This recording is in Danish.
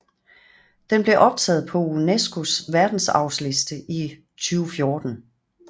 Den blev optaget på UNESCOs verdensarvsliste i 2014